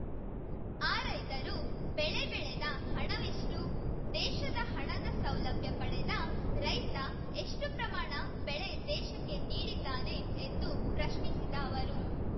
ಆ ರೈತರು ಬೆಳೆ ಬೆಳೆದ ಹಣವೆಷ್ಟು ದೇಶದ ಹಣದ ಸೌಲಭ್ಯ ಪಡೆದ ರೈತ ಎಷ್ಟುಪ್ರಮಾಣ ಬೆಳೆ ದೇಶಕ್ಕೆ ನೀಡಿದ್ದಾನೆ ಎಂದು ಪ್ರಶ್ನಿಸಿದ ಅವರು